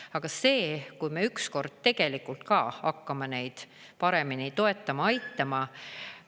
Aga see, kui me ükskord tegelikult ka hakkame neid paremini toetama, aitama …